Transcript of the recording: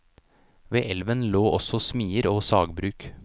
Ved elven lå også smier og sagbruk.